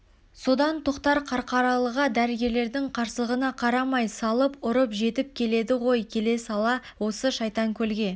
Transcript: содан тоқтар қарқаралыға дәрігерлердің қарсылығына қарамай салып-ұрып жетіп келеді ғой келе сала осы шайтанкөлге